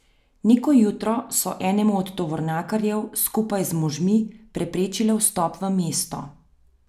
Neko jutro so enemu od tovornjakarjev skupaj z možmi preprečile vstop v mesto.